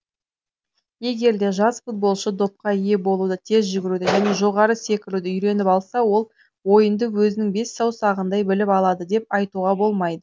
егерде жас футболшы допқа ие болуды тез жүгіруді және жоғары секіруді үйреніп алса ол ойынды өзінің бес саусағындай біліп алады деп айтуға болмайды